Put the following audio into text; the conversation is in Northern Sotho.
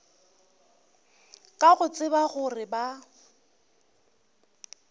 ka go tseba gore ba